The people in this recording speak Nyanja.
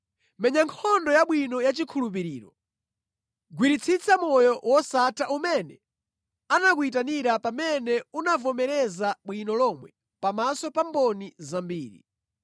Menya nkhondo yabwino yachikhulupiriro. Gwiritsitsa moyo wosatha umene anakuyitanira pamene unavomereza bwino lomwe pamaso pa mboni zambiri.